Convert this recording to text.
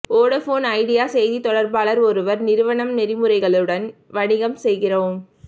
Vodafone Idea செய்தித் தொடர்பாளர் ஒருவர் நிறுவனம் நெறிமுறைகளுடன் வணிகம் செய்கிறோம்